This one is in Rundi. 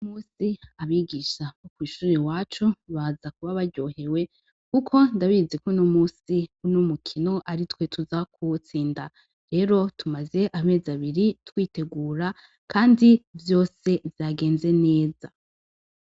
Uno musi abigisha kw'ishure iwacu baza kuba baryohewe kuko ndabizi ko uno musi uno mukino ari twe tuza kuwutsinda. Rero tumaze amezi abiri twitegura kandi vyose vyagenze neza.